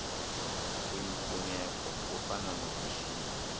kuyimfuneko kufana nokushiya